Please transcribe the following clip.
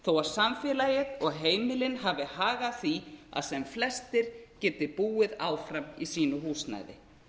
þó að samfélagið og heimilin hafi hag af því að sem flestir geti búið áfram í sínu húsnæði